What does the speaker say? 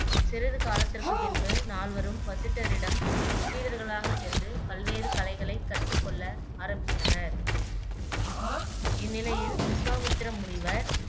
சிறிது காலத்திற்கு பின்பு நால்வரும் வசிட்டரிடம் சீடர்களாக சென்று பல்வேறு கலைகளை கற்று கொள்ள ஆரம்பித்தனர் இந்நிலையில் விசுவாமித்திர முனிவர்